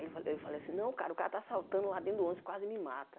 Ele falou eu falei assim, não, cara, o cara está assaltando lá dentro do ônibus, quase me mata.